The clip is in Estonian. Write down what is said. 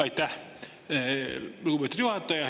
Aitäh, lugupeetud juhataja!